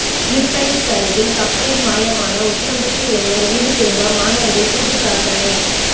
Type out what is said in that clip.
Philippines அருகில் கப்பலில் மாயமான உசிலம்பட்டி இளைஞர் வீடு திரும்ப மாணவர்கள் கூட்டுப்பிரார்த்தனை